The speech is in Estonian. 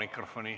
Jaak Juske!